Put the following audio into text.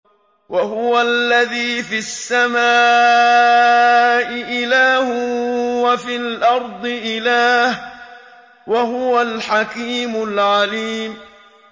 وَهُوَ الَّذِي فِي السَّمَاءِ إِلَٰهٌ وَفِي الْأَرْضِ إِلَٰهٌ ۚ وَهُوَ الْحَكِيمُ الْعَلِيمُ